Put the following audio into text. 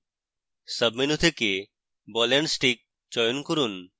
সাবmenu থেকে ball and stick চয়ন করুন